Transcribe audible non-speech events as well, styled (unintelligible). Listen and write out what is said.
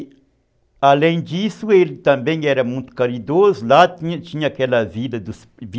E, além disso, ele também era muito caridoso, lá tinha tinha aquela vida (unintelligible)